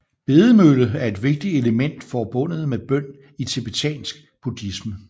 Bedemølle er et vigtigt element forbundet med bøn i tibetansk buddhisme